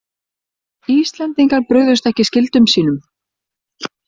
Íslendingar brugðust ekki skyldum sínum